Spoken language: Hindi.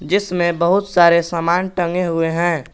जिसमे बहुत सारे समान टंगे हुए है।